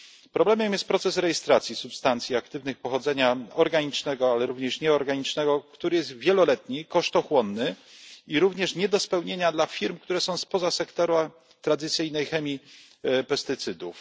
Problemem jest proces rejestracji substancji aktywnych pochodzenia organicznego, ale również nieorganicznego, który jest wieloletni, kosztochłonny i również nie do spełnienia dla firm, które są spoza sektora tradycyjnej chemii pestycydów.